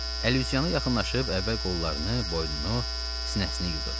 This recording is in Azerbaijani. Əlüzyana yaxınlaşıb əvvəl qollarını, boynunu, sinəsini yudu.